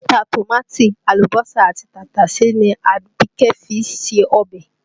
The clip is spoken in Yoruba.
Ata, tòmáàtì, àlùbọ́sà àti tàtàsé ni Abike fi ń se ọbẹ̀